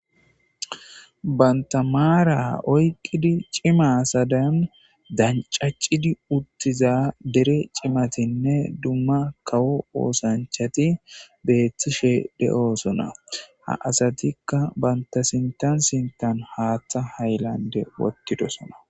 bantamaara oyqqidi cima sadaan dancacidi uttiza dere cimatinne dumma kawo oosanchati beethtishe de7osona ha asatikka banta sintan sintan haaththa haylande wottidosona